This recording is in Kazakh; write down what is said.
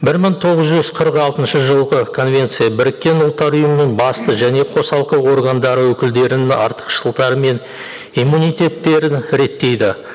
бір мың тоғыз жүз қырық алтыншы жылғы конвенция біріккен ұлттар ұйымының басты және қосалқы органдары өкілдерінің артықшылықтары мен иммунитеттерін реттейді